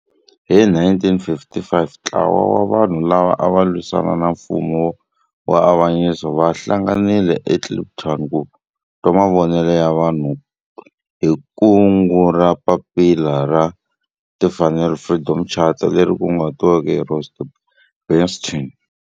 Hi 1955 ntlawa wa vanhu lava ava lwisana na nfumo wa avanyiso va hlanganile eKliptown ku twa mavonelo ya vanhu hi kungu ra Papila ra Timfanelo, Freedom Charter, leri kunguhatiweke hi Rusty Bernstein.